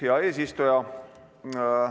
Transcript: Hea eesistuja!